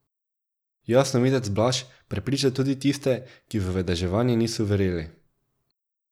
Jasnovidec Blaž prepriča tudi tiste, ki v vedeževanje niso verjeli.